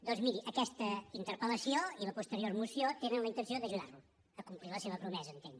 doncs miri aquesta interpel·lació i la posterior moció tenen la intenció d’ajudar lo a complir la seva promesa entenc